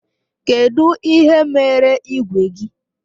Kedụ ihe mere igwe gị?